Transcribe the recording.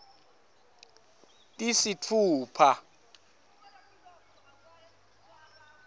tisitfupha